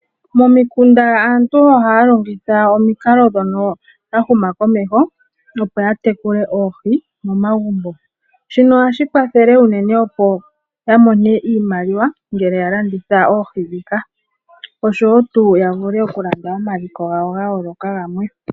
Momikunda aantu ohaya longitha omikalo ndhono dha huma komeho opo ya tekule oohi momagumbo, shino ohashi kwathele unene opo ya mone iimaliwa ngele ya landitha oohi ndhika oshowo tuu ya vule oku landa omaliko gawo ga yooloka gamwe.